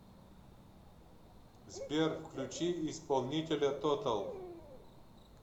сбер включи исполнителя тотал